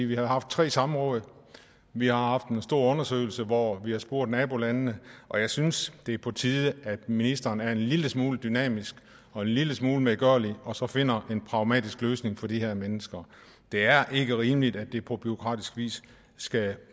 vi har haft tre samråd vi har haft en stor undersøgelse hvor vi har spurgt nabolandene og jeg synes det er på tide at ministeren er en lille smule dynamisk og en lille smule medgørlig og så finder en pragmatisk løsning for de her mennesker det er ikke rimeligt at det offentlige på bureaukratisk vis